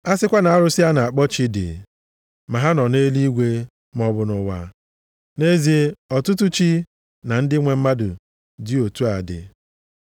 A sịkwa na arụsị a na-akpọ chi dị, ma ha nọ nʼeluigwe maọbụ nʼụwa (nʼezie ọtụtụ “chi” na “ndị nwe mmadụ” dị otu a dị).